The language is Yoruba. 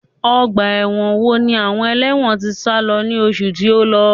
Ọgbà ẹ̀wọ̀n wo ni àwọn ẹlẹ́wọ̀n tí sálo ní oṣù tí ó lọ?